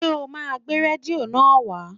Ṣé o máa gbé rédíò náà wá?